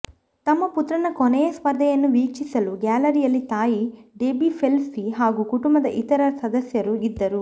ತಮ್ಮ ಪುತ್ರನ ಕೊನೆಯ ಸ್ಪರ್ಧೆಯನ್ನು ವೀಕ್ಷಿಸಲು ಗ್ಯಾಲರಿಯಲ್ಲಿ ತಾಯಿ ಡೆಬೀ ಫೆಲ್ಪ್ಸ್ ಹಾಗೂ ಕುಟುಂಬದ ಇತರ ಸದಸ್ಯರು ಇದ್ದರು